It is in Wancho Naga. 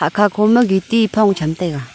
hakha khoma gitti ee phong chamla taiga.